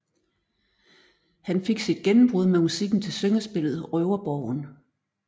Han fik sit gennembrud med musikken til syngespillet Røverborgen